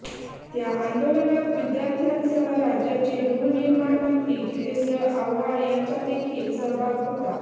त्या आंदोलनात विद्यार्थ्यांसह राज्याचे गृहनिर्माण मंत्री जितेंद्र आव्हाड यांचादेखील सहभाग होता